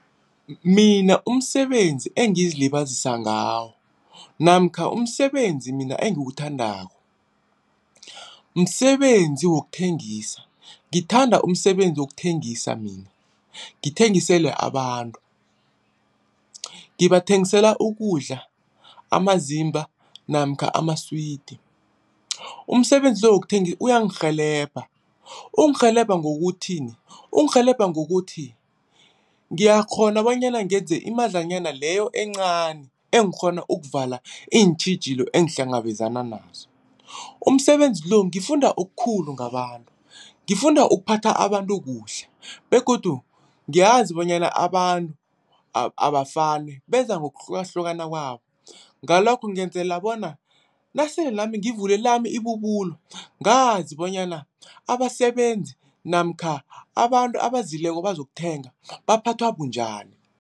Mina umsebenzi engizilibazisa ngawo namkha umsebenzi mina engiwuthandako, msebenzi wokuthengisa. Ngithanda umsebenzi wokuthengisa mina, ngithengisele abantu ngibathengisela ukudla, amazimba namkha amaswidi. Umsebenzi wokuthengisa uyangirhelebha, ungirhelebha ngokuthini? Ungirhelebha ngokuthi ngiyakghona bonyana ngenze imadlanyana leyo encani engikghona ukuvala iintjhijilo engihlangabezana nazo. Umsebenzi lo ngifunda okukhulu ngabantu, ngifunda ukuphatha abantu kuhle begodu ngiyazi bonyana abantu abafani. Beza ngokuhlukahlukana kwabo, ngalokho ngenzela bona nasele nami ngivule lami ibubulo ngazi bonyana abasebenzi namkha abantu abazileko bazokuthenga baphathwa bunjani.